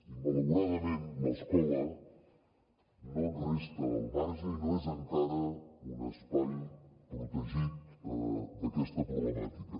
i malauradament l’escola no en resta al marge i no és encara un espai protegit d’aquesta problemàtica